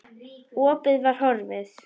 Opið var horfið.